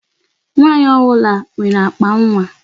Nwaanyị ọbụla nwere akpa nwa.